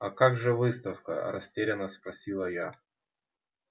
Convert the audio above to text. а как же выставка растеряно спросила я